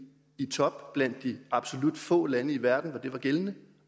i top blandt de absolut få lande i verden hvor det var gældende